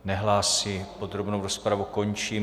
Nehlásí, podrobnou rozpravu končím.